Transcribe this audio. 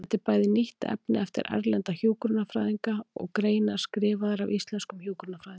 Þetta er bæði þýtt efni eftir erlenda hjúkrunarfræðinga og greinar skrifaðar af íslenskum hjúkrunarfræðingum.